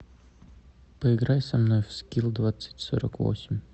поиграй со мной в скилл двадцать сорок восемь